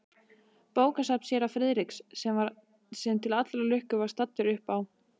Bókasafn séra Friðriks, sem til allrar lukku var staddur uppá